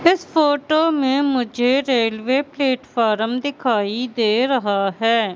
इस फोटो में मुझे रेलवे प्लेटफार्म दिखाई दे रहा है।